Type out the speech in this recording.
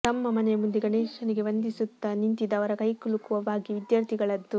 ತಮ್ಮ ಮನೆಯ ಮುಂದೆ ಗಣೇಶನಿಗೆ ವಂದಿಸುತ್ತಾ ನಿಂತಿದ್ದ ಅವರ ಕೈಕುಲುಕುವ ಭಾಗ್ಯ ವಿದ್ಯಾರ್ಥಿಗಳದ್ದು